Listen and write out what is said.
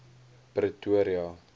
pretoria